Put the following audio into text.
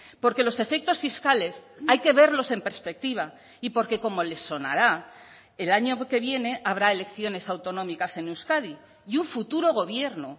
porque los efectos fiscales hay que verlos en perspectiva y porque como le sonará el año que viene habrá elecciones autonómicas en euskadi y un futuro gobierno